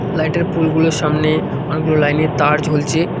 Light -এর pole -গুলোর সামনে অনেকগুলো লাইন -এর তার ঝুলছে।